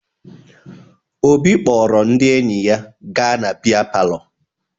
Obi kpọrọ ndị enyi ya gaa na bịa palọ